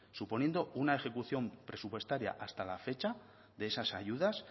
suponiendo una ejecución presupuestaria hasta la fecha de esas ayudas